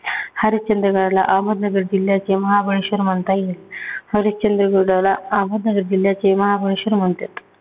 हरिश्चंद्रगडाला अहमदनगर जिल्ह्याचे महाबळेश्वर म्हणता येतील. हरिश्चंद्रगडला अहमदनगर जिल्ह्याचे महाबळेश्वर म्हणत्यात.